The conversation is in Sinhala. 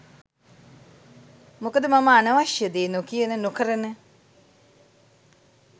මොකද මම අනවශ්‍ය දේ නොකියන නොකරන